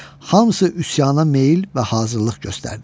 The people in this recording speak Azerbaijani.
Hamısı üsyana meyl və hazırlıq göstərdi.